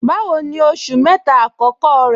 Báwò ní oṣù mẹ́ta akọkọ rẹ̀?